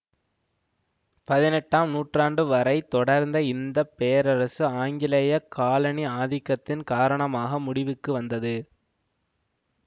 பதினெட்டாம் நூற்றாண்டு வரை தொடர்ந்த இந்த பேரரசு ஆங்கிலேய காலணி ஆதிக்கத்தின் காரணமாக முடிவுக்கு வந்தது